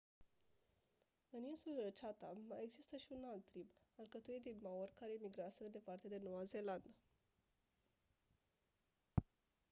în insulele chatham mai exista și un alt trib alcătuit din maori care emigraseră departe de noua zeelandă